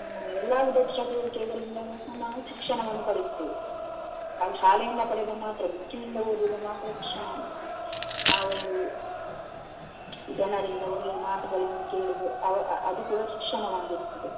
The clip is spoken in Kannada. ಎಲ್ಲಾ ವಿಧದ ಚಟುವಟಿಕೆಗಳಿಂದಲೆ ನ~ ನಾವು ಶಿಕ್ಷಣವನ್ನು ಪಡೆಯುತ್ತೇವೆ ಕಾಲಿ ಶಾಲೆಯಿಂದ ಪಡೆಯುದು ಮಾತ್ರವಲ್ಲ book ನಿಂದ ಓದಿದ್ದು ಮಾತ್ರ ಶಿಕ್ಷಣ ಅಲ್ಲ ನಾವೊಂದು ಜನರಿಂದ ಒಳ್ಳೆಯ ಮಾತುಗಳನ್ನು ತಿಳಿದು ಅ~ ಅದು ಕೂಡ ಶಿಕ್ಷಣವಾಗಿರುತ್ತದೆ.